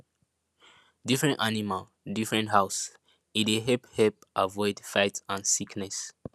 different animal different house e dey help help avoid fight and sickness